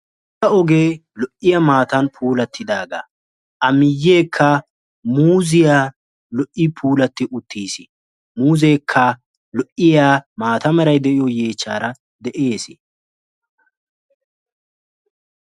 Ogee lo'iyaa maatan puulattidaga, a miyekka muuziya lo''i puulatti uttiis, muuzeekka lo"iya maata meray de'yoo yeechchara de'ees.